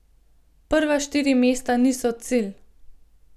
Prva štiri mesta niso cilj.